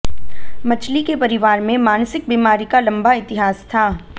मछली के परिवार में मानसिक बीमारी का लंबा इतिहास था